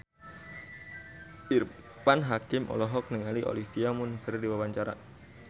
Irfan Hakim olohok ningali Olivia Munn keur diwawancara